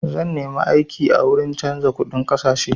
Zan nemi aiki a wuri canza kuɗin ƙasashe.